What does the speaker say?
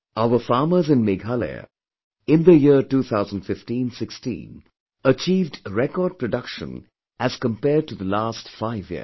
Our farmers in Meghalaya, in the year 201516, achieved record production as compared to the last five years